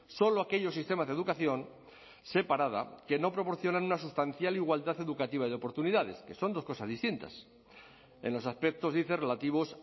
solo aquellos sistemas de educación separada que no proporciona una sustancial igualdad educativa y oportunidades que son dos cosas distintas en los aspectos dice relativos